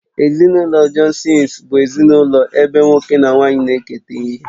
Ezinụlọ Johnsons bụ ezinụlọ ebe nwoke na nwaanyị na-eketa ihe